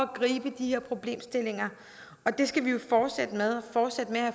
gribe de her problemstillinger og det skal vi jo fortsætte med at